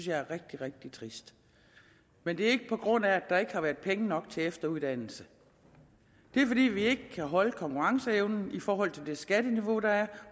jeg er rigtig rigtig trist men det er ikke på grund af at der ikke har været penge nok til efteruddannelse det er fordi vi ikke kan holde konkurrenceevnen i forhold til det skatteniveau der er